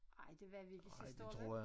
Ej det var vi ikke sidste år vel?